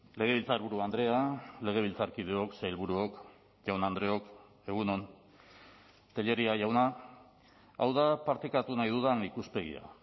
legebiltzarburu andrea legebiltzarkideok sailburuok jaun andreok egun on tellería jauna hau da partekatu nahi dudan ikuspegia